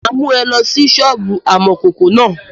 Mà á mú ẹ lọ sí sọ́ọ̀bù amọ̀kòkò náà.